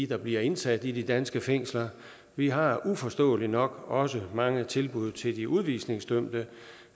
der bliver indsat i de danske fængsler vi har uforståeligt nok også mange tilbud til de udvisningsdømte